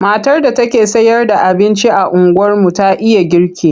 Matar da take sayarda abinci a unguwarmu ta iya girki.